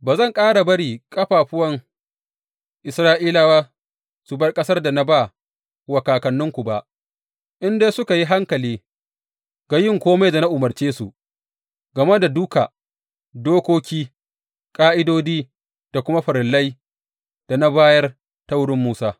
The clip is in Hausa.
Ba zan ƙara bari ƙafafun Isra’ilawa su bar ƙasar da na ba wa kakanninku ba, in dai suka yi hankali ga yin kome da na umarce su game da duka dokoki, ƙa’idodi da kuma farillai da na bayar ta wurin Musa.